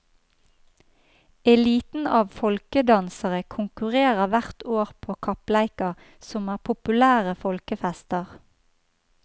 Eliten av folkedansere konkurrerer hvert år på kappleiker, som er populære folkefester.